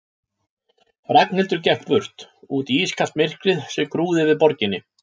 Ragnhildur gekk burt, út í ískalt myrkrið sem grúfði yfir borginni.